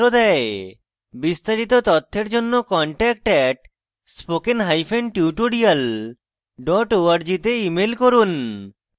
বিস্তারিত তথ্যের জন্য contact @spokentutorial org তে ইমেল করুন